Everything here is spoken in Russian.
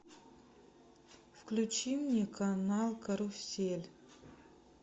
включи мне канал карусель